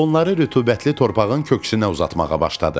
Onları rütubətli torpağın köksünə uzatmağa başladım.